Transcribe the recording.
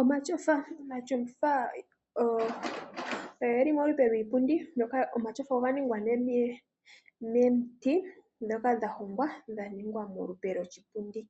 Omatyofa Omatyofa oge li molupe lwiipundi. Omatyofa oga ningwa miiti mbyoka ya hongwa ya wa molupe lwoshipundi.